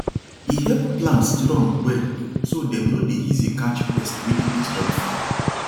e help plants strong well so dem no dey easy catch pests wey dey disturb farm